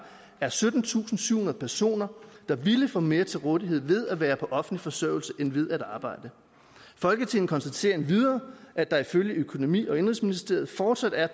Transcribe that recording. er syttentusinde og syvhundrede personer der ville få mere til rådighed ved at være på offentlig forsørgelse end ved at arbejde folketinget konstaterer endvidere at der ifølge økonomi og indenrigsministeriet fortsat er